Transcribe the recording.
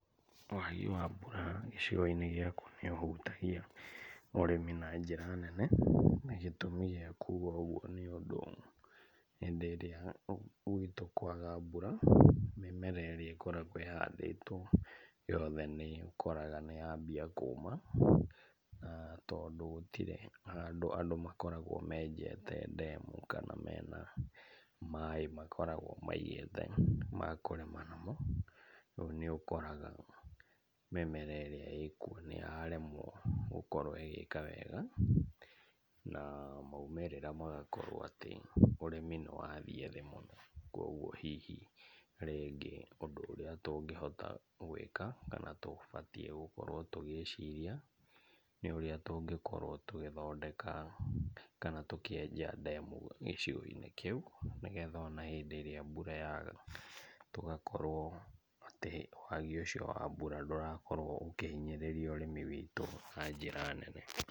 Wagi wa mbura gĩcigo-inĩ gĩakwa nĩũhutagia ũrĩmi na njĩra nene, na gĩtũmi gĩa kuga ũguo nĩũndũ hĩndĩ ĩrĩa gwitũ kwaga mbura mĩmera ĩrĩa ĩkoragwo ĩhandĩtwo yothe nĩũkoraga nĩyambia kũma na tondũ gũtirĩ handũ andũ makoragwo menjete ndemu kana mena maĩ makoragwo maigĩte ma kũrĩma namo, rĩu nĩũkoraga mĩmera ĩrĩa ĩkuo nĩyaremwo gũkorwo ĩgĩka wega na maumĩrĩra magakorwo atĩ ũrĩmi nĩwathiĩ thĩ mũno, kuoguo hihi rĩngĩ ũndũ ũrĩa tũngĩhota gwĩka kana tũbatiĩ gũkorwo tũgĩciria nĩ ũrĩa tũngĩkorwo tũgĩthondeka kana tũkĩenja ndemu gĩcigo-inĩ kĩu, nĩgetha ona hĩndĩ ĩrĩa mbura yaga, tũgakorwo atĩ wagi ũcio wa mbura ndũrakorwo ũkĩhinyĩrĩria ũrĩmi witũ na njĩra nene.